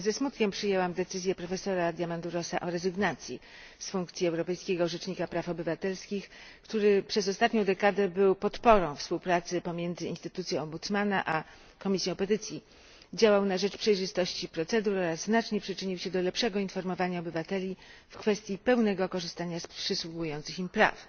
Ze smutkiem przyjęłam decyzję profesora Diamandourosa o rezygnacji z funkcji Europejskiego Rzecznika Praw Obywatelskich, który przez ostatnią dekadę był podporą współpracy pomiędzy instytucją Ombudsmana a Komisją Petycji, działał na rzecz przejrzystości procedur oraz znacznie przyczynił się do lepszego informowania obywateli w kwestii pełnego korzystania z przysługujących im praw.